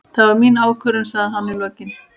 Það var mín ákvörðun, sagði hann í lokin.